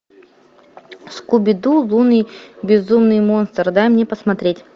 скуби ду лунный безумный монстр дай мне посмотреть